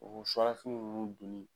O suwa la fini nunnu donni